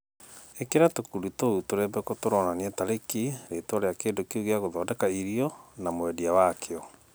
Ikĩra tũkundi tũu tũrembeko tũronania tarĩki, rĩtwa rĩa kĩndũ kĩu gĩagũthondeka irio, na mwendia wakĩo